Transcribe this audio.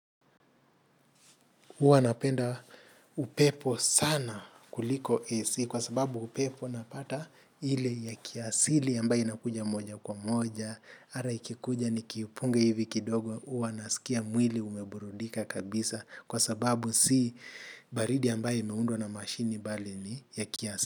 Huwa napenda upepo sana kuliko AC kwa sababu upepo napata ile ya kiasili ambayo inakuja moja kwa moja. Hata ikikuja nikiipunga hivi kidogo huwa nasikia mwili umeburudika kabisa kwa sababu si baridi ambayo imeundwa na mashine bali ni ya kiasili.